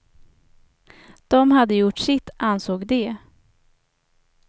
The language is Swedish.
De hade gjort sitt, ansåg de.